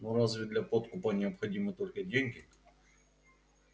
но разве для подкупа необходимы только деньги